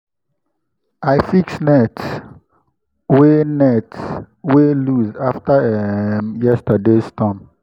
i fix net wey net wey loose after um yesterday’s storm.